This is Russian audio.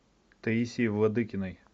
таисии владыкиной